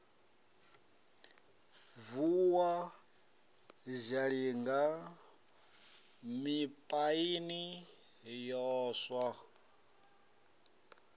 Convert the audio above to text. vuwa zhalinga mipaini ya swa